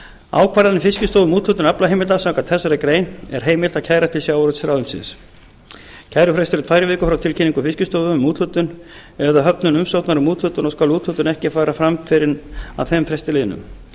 ákvarðanir fiskistofu um úthlutun aflaheimilda samkvæmt þessari grein er heimilt að kæra til sjávarútvegsráðuneytisins kærufrestur er tvær vikur frá tilkynningu fiskistofu um úthlutun eða höfnun umsóknar um úthlutun og skal úthlutun ekki fara fram fyrr en að þeim fresti liðnum